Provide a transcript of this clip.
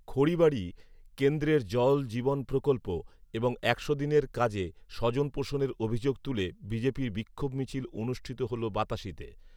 খড়িবাড়ি, কেন্দ্রের জল জীবন প্রকল্প এবং একশো দিনের কাজে স্বজনপোষণের অভিযোগ তুলে বিজেপির বিক্ষোভ মিছিল অনুষ্ঠিত হল বাতাসিতে।